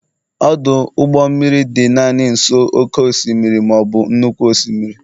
ọdụ ụgbọ mmiri dị naanị nso oke osimiri, ma ọ bụ nnukwu osimiri